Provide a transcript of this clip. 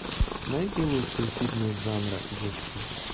найди лучшие фильмы жанра детский